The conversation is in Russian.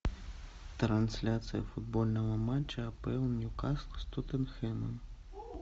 трансляция футбольного матча апл ньюкасл с тоттенхэмом